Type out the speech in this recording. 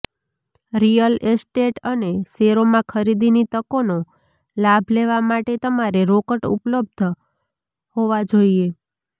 real estate અને શેરોમાં ખરીદીની તકોનો લાભ લેવા માટે તમારે રોકડ ઉપલબ્ધ હોવા જોઈએ